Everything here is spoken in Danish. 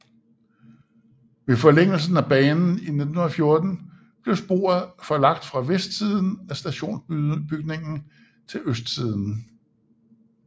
Ved forlængelsen af banen i 1914 blev sporet forlagt fra vestsiden af stationsbygningen til østsiden